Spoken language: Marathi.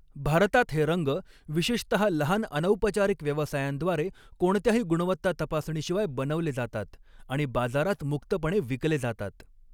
भारतात हे रंग विशेषतहा लहान अनौपचारिक व्यवसायांद्वारे कोणत्याही गुणवत्ता तपासणीशिवाय बनवले जातात, आणि बाजारात मुक्तपणे विकले जातात.